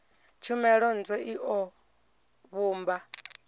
tshumelo ntswa i o vhumba